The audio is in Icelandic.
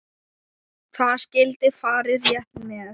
Það skyldi farið rétt með.